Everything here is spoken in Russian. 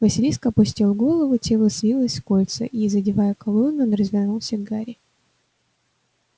василиск опустил голову тело свилось в кольца и задевая колонны он развернулся к гарри